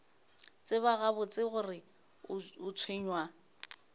tseba gabotse gore o tshwenywa